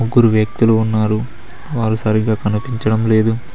ముగ్గురు వ్యక్తులు ఉన్నారు వారు సరిగ్గా కనిపించడం లేదు.